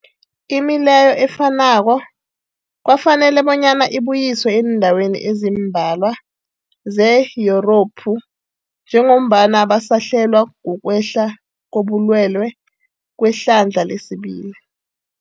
Imileyo efanako kwafanela bonyana ibuyiswe eendaweni ezimbalwa ze-Yurophu njengombana basahlelwa, kukwehla kobulwele kwehlandla lesibili.